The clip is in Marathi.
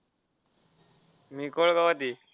मी कोळगावात आहे.